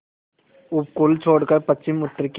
उपकूल छोड़कर पश्चिमउत्तर की